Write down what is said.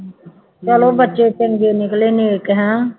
ਚੱਲੋ ਬੱਚੇ ਚੰਗੇ ਨਿਕਲੇ ਨੇਕ ਹੈਂ